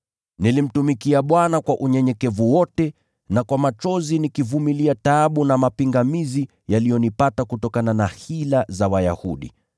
Nilimtumikia Bwana kwa unyenyekevu wote na kwa machozi nikivumilia taabu na mapingamizi yaliyonipata kutokana na hila za Wayahudi.